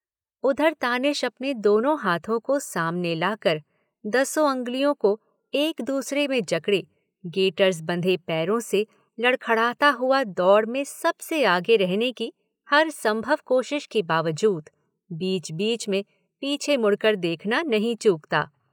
उधर तानिश अपने दोनों हाथों को सामने लाकर, दसों अंगुलियों को एक दूसरे में जकडे़, गेटर्स बंधे पैरों से लडखड़ाता हुआ दौड़ में सबसे आगे रहने की हरसंभव कोशिश के बावजूद बीच बीच में पीछे मुड़कर देखना नहीं चूकता।